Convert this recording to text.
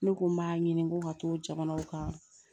Ne ko n b'a ɲini ko ka to jamanaw kan